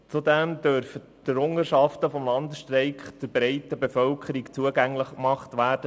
Zudem dürfen die Errungenschaften des Landesstreiks der breiten Bevölkerung zugänglich gemacht werden.